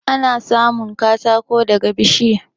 Ana samun katako daga bishiya.